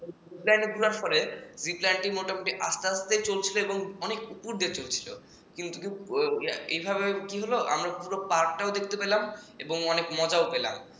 jeep line ওঠার পরে jeep line টি মোটামুটি আস্তে চলছিল এবং অনেক উপর দিয়ে চলছিল এভাবে কি হল আমরা পুরো park টাও দেখতে পেলাম এবং অনেক মজাও পেলাম